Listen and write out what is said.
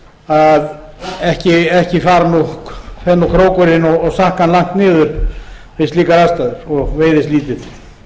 gamni sínu að ekki fer krókurinn og sakkan langt niður við slíkar aðstæður og veiðist lítið